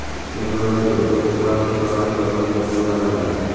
Germaniyada ularga plastik jarrohlik amaliyoti qo‘llaniladi.